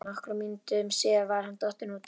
Nokkrum mínútum síðar var hann dottinn út af.